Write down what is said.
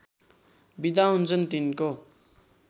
बिदा हुन्छन् तिनको